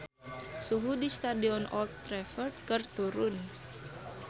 Suhu di Stadion Old Trafford keur turun